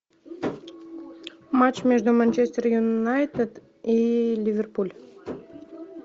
матч между манчестер юнайтед и ливерпуль